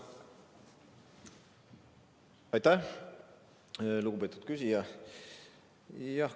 Aitäh, lugupeetud küsija!